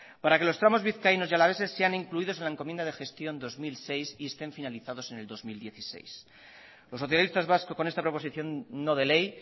para que los tramos vizcaínos y alaveses sean incluidos en la encomienda de gestión dos mil seis y estén finalizados en el dos mil dieciséis los socialistas vascos con esta proposición no de ley